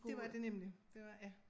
Det var det nemlig det var ja